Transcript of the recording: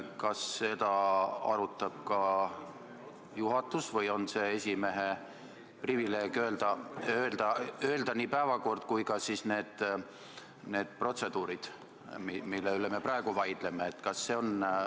Kas seda arutab ka juhatus või on esimehe privileeg määrata kindlaks nii päevakord kui ka need protseduurid, mille üle me praegu vaidleme?